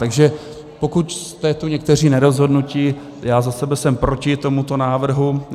Takže pokud jste tu někteří nerozhodnutí - já za sebe jsem proti tomuto návrhu.